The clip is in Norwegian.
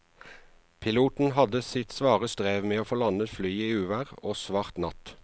Piloten hadde sitt svare strev med å få landet flyet i uvær og svart natt.